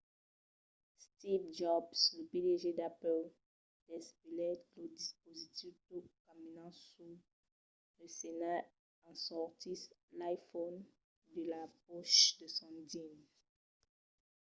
steve jobs lo pdg d’apple desvelèt lo dispositiu tot caminant sus la scèna e en sortissent l'iphone de la pòcha de son jeans